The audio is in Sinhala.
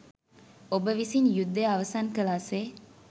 ඔබ විසින් යුද්දය අවසන් කලා සේ